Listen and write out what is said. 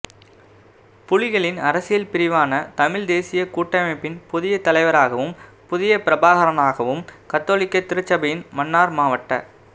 புலிகளின் அரசியல் பிரிவான தமிழ்த் தேசியக் கூட்டமைப்பின் புதிய தலைவராகவும் புதிய பிரபாகரனாகவும் கத்தோலிக்கத் திருச்சபையின் மன்னார் மாவட்ட